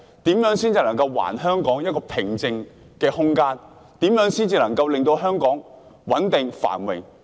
如何才能還香港一個平靜的空間，如何才能令香港穩定、繁榮？